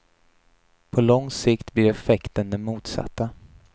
På lång sikt blir effekten den motsatta.